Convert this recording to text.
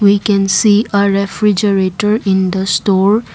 we can see a refrigerator in the store.